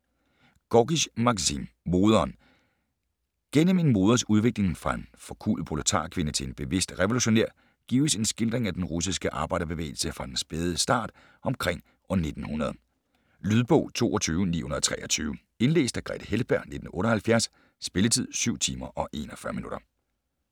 Gorkij, Maksim: Moderen Gennem en mors udvikling fra en forkuet proletarkvinde til en bevidst revolutionær gives en skildring af den russiske arbejderbevægelse fra dens spæde start omkring år 1900. Lydbog 22923 Indlæst af Grethe Heltberg, 1978. Spilletid: 7 timer, 41 minutter.